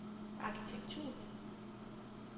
arkitektur